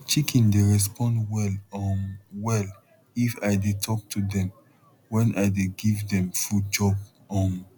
chicken dey respond well um well if i dey talk to dem wen i dey give dem food chop um